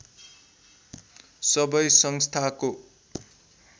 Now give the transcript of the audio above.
सबै संस्थाको